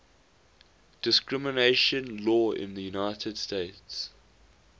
discrimination law in the united states